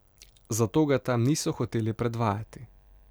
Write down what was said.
Zato ga tam niso hoteli predvajati.